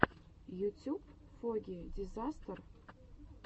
ютюб фогги дизастер